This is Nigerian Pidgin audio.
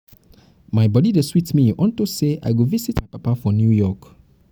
my body dey sweet me unto say um i go go visit my papa for new york